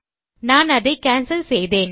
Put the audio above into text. நான் அதை கேன்சல் செய்தேன்